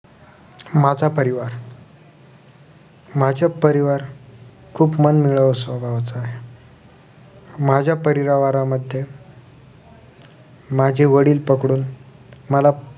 माझा परिवार माझ्या परिवार खुप मनमिळावू स्वभावाचा आहे माझ्या परिवारमध्ये माझे वडील पकडून मला